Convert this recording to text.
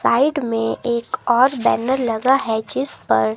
side में एक और बैनर लगा है जिस पर--